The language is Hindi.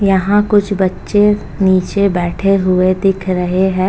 यहाँ कुछ बच्चे नीचे बैठे हुए दिख रहे हैं।